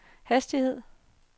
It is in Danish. hastighed